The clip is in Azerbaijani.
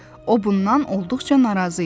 O bundan olduqca narazı idi.